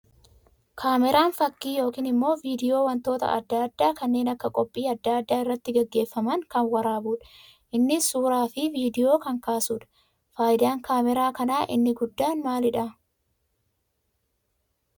Kaameraan fakkii yookiin immoo viidiyoo wantoota addaa addaa kanneen akka qophii aadaa addaa irratti gaggeeffaman kan warabuu dha. Innis suuraa fi viidiyoo kan kaasuu dha. Faayidaan kaameraa kanaa inni guddaan maalii dha?